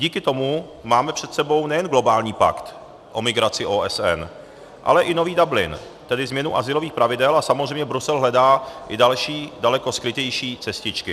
Díky tomu máme před sebou nejen globální pakt o migraci OSN, ale i nový Dublin, tedy změnu azylových pravidel, a samozřejmě Brusel hledá i další, daleko skrytější cestičky.